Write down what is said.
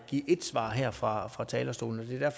give ét svar her fra fra talerstolen og det er